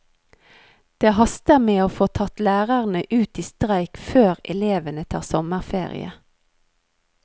Det haster med å få tatt lærerne ut i streik før elevene tar sommerferie.